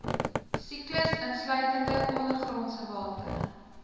siklus insluitende ondergrondsewater